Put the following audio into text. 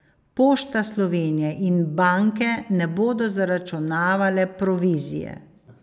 Pošta Slovenije in banke ne bodo zaračunavale provizije.